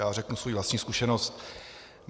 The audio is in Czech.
Já řeknu svoji vlastní zkušenost.